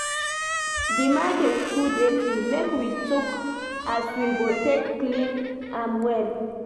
Di market too dirty, make we tok as we go take clean am well.